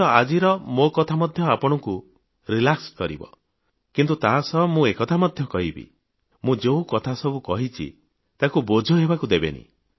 ହୁଏତ ଆଜିର ମୋ କଥା ମଧ୍ୟ ଆପଣଙ୍କୁ ରିଲାକ୍ସ କରିବ କିନ୍ତୁ ତା ସହ ମୁଁ ଏକଥା ମଧ୍ୟ କହିବି ମୁଁ ଯେଉଁ କଥାସବୁ କହିଛି ତାକୁ ବୋଝ ହେବାକୁ ଦେବେନି